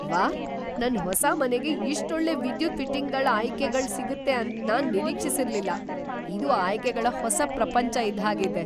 ವಾಹ್, ನನ್ ಹೊಸ ಮನೆಗೆ ಇಷ್ಟ್ ಒಳ್ಳೆ ವಿದ್ಯುತ್ ಫಿಟ್ಟಿಂಗ್‌ಗಳ್ ಆಯ್ಕೆ ಗಳ್ ಸಿಗುತ್ತೆ ಅಂತ್ ನಾನ್ ನಿರೀಕ್ಷಿಸಿರ್ಲಿಲ್ಲ - ಇದು ಆಯ್ಕೆಗಳ ಹೊಸ ಪ್ರಪಂಚ ಇದ್ದ್ ಹಾಗೆ ಇದೆ!